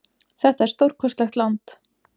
Þetta er stórkostlegt land.